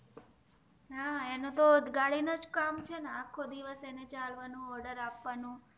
હા એનું તો ગાડી નું જ કામ છે ને આખો દિવશ અને ચાલવાનું ઓડૅર આપવાનું